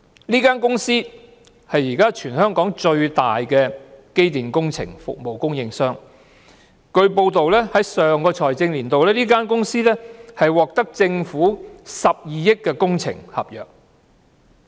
這間公司是現時全港最大的機電工程服務供應商，根據報道，在上個財政年度，這間公司獲政府批出12億元的工程合約。